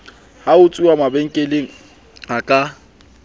ho utsuwa mabenkeleng a ka